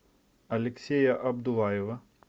алексея абдуллаева